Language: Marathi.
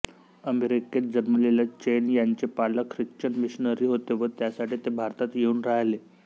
अमेरिकेत जन्मलेल्या चेन यांचे पालक ख्रिश्चन मिशनरी होते व त्यासाठी ते भारतात येऊन राहिले